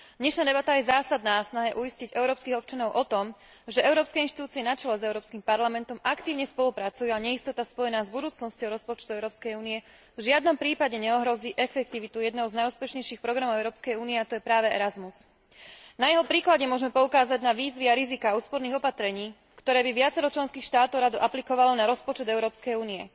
Dnešná debata je zásadná v snahe uistiť európskych občanov o tom, že európske inštitúcie na čele s Európskym parlamentom aktívne spolupracujú a neistota spojená s budúcnosťou rozpočtu Európskej únie v žiadnom prípade neohrozí efektivitu jedného z najúspešnejších programov Európskej únie, a tým je práve Erasmus. Na jeho príklade môžeme poukázať na výzvy a riziká úsporných opatrení, ktoré by viacero členských štátov rado aplikovalo na rozpočet Európskej únie.